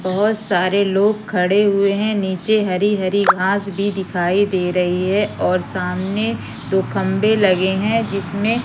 बहोत सारे लोग खड़े हुए हैं नीचे हरी-हरी घास भी दिखाई दे रही है और सामने दो खंबे लगे हैं जिसमें --